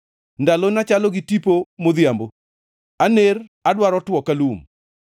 Ndalona chalo gi tipo modhiambo; aner adwaro two ka lum.